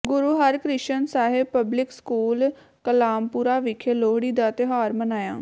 ਗੁਰੂ Harkrishan Sahib public school Kamalpura ਵਿਖੇ ਲੋਹੜੀ ਦਾ ਤਿਉਹਾਰ ਮਨਾਇਆ